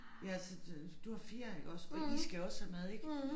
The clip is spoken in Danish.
Ja så det du har 4 iggås og I skal også have mad ik